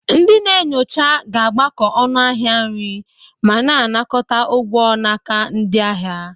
Ndị na-enyocha ga-agbakọ ọnụ ahịa nri ma na-anakọta ụgwọ n'aka ndị ahịa.